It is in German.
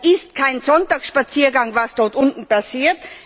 Das ist kein Sonntagsspaziergang, was dort unten passiert.